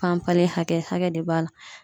Panpali hakɛ, hakɛ de b'a la.